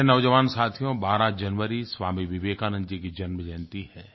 प्यारे नौजवान साथियो 12 जनवरी स्वामी विवेकानंद जी की जन्मजयंती है